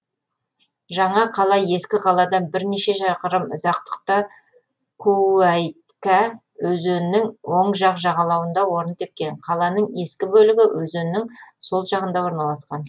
жаңа қала ескі қаладан бірнеше шақырым ұзақтықта куәйкә өзенінің оң жақ жағалауында орын тепкен қаланың ескі бөлігі өзеннің сол жағында орналасқан